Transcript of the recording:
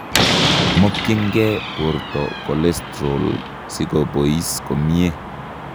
Mokyinkee bortocholestorol sikobois komyee